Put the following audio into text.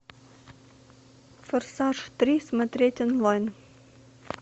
форсаж три смотреть онлайн